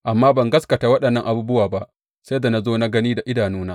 Amma ban gaskata waɗannan abubuwa ba sai da na zo na gani da idanuna.